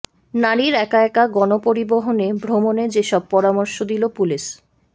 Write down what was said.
নারীর একা একা গণপরিবহনে ভ্রমণে যেসব পরামর্শ দিল পুলিশ